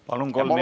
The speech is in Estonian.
Palun!